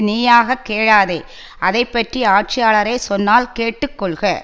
நீயாகக் கேளாதே அதை பற்றி ஆட்சியாளரே சொன்னால் கேட்டு கொள்க